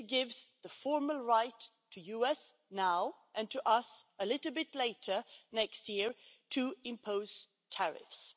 This gives the formal right to the US now and to us a little bit later, next year to impose tariffs.